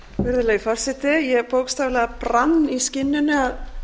virðulegi forseti ég bókstaflega brann í skinninu að